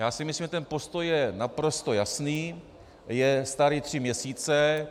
Já si myslím, že ten postoj je naprosto jasný, je starý tři měsíce.